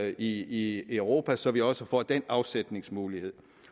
i europa og så vi også får den afsætningsmulighed